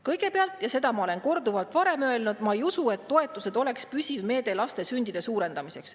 "Kõigepealt – ja seda ma olen ka korduvalt varem öelnud – ma ei usu, et toetused oleks püsiv meede laste sündide suurendamiseks.